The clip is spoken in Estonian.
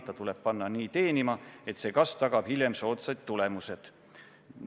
Ta tuleb panna nii teenima, et see kasv tagab hiljem soodsad tulemused.